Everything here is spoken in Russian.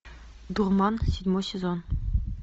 дурман седьмой сезон